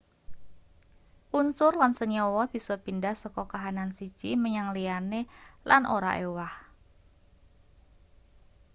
unsur lan senyawa bisa pindah saka kahanan siji menyang liyane lan ora ewah